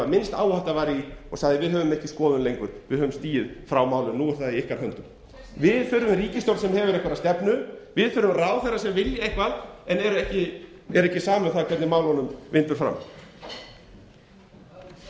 minnst áhætta var í og sagði við höfum ekki skoðun lengur við höfum stigið frá málinu nú er það í ykkar höndum við þurfum ríkisstjórn sem hefur einhverja stefnu við þurfum ráðherra sem vilja eitthvað en er ekki sama um það hvernig málunum vindur fram hvað leggið þið